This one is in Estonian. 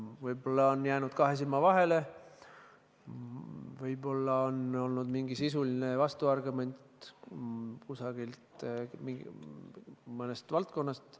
Võib-olla on jäänud kahe silma vahele, võib-olla on olnud mingi sisuline vastuargument mõnest valdkonnast.